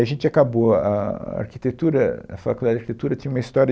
E a gente acabou, a a arquitetura, a faculdade de arquitetura tinha uma história